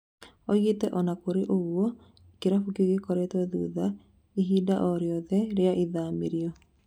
Oigĩte "Ona kũrĩ ũguo kĩrabu kĩu gĩturutĩte rũtha oro rwothe rĩa ithamĩrio"